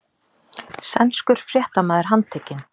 Sænskur fréttamaður handtekinn